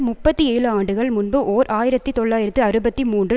முப்பத்தி ஏழு ஆண்டுகள் முன்பு ஓர் ஆயிரத்தி தொள்ளாயிரத்து அறுபத்தி மூன்று